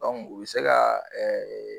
O be se ga ɛ ɛ